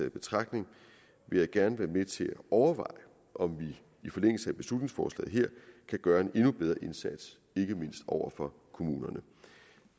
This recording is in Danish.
i betragtning vil jeg gerne være med til at overveje om vi i forlængelse af beslutningsforslaget her kan gøre en endnu bedre indsats ikke mindst over for kommunerne